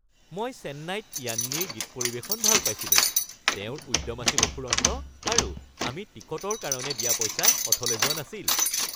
মই চেন্নাইত য়ান্নিৰ গীত পৰিৱেশন ভাল পাইছিলোঁ। তেওঁৰ উদ্যম আছিল অফুৰন্ত আৰু আমি টিকটৰ কাৰণে দিয়া পইচা অথলে যোৱা নাছিল।